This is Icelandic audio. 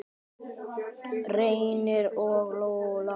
Reynir og Lóa.